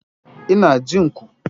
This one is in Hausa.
Ina jin ku.